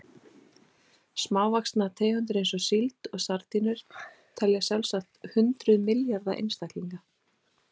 Smávaxnar tegundir eins og síld og sardínur telja sjálfsagt hundruð milljarða einstaklinga.